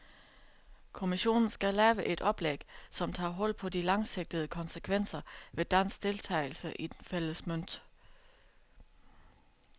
Kommissionen skal lave et oplæg, som tager hul på de langsigtede konsekvenser ved dansk deltagelse i den fælles mønt.